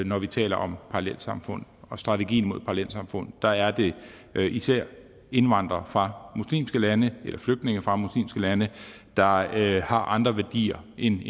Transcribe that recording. når vi taler om parallelsamfund og strategien mod parallelsamfund der er det især indvandrere fra muslimske lande eller flygtninge fra muslimske lande der har andre værdier end